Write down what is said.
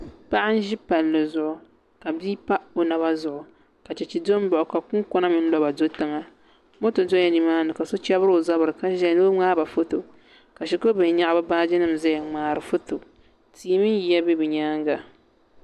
Paɣa n ʒi palli zuɣu ka bia pa o naba zuɣu ka chɛchɛ do n baɣa o ka kunkona mini laba do tiŋa moto dola nimaani ka so chɛbiri o zabiri ka ʒɛya ni o ŋmaaba foto ka shikuru bihi nyaɣa bi baaji nim ʒɛya n ŋmaari foto tia mini yiya bɛ bi nyaanga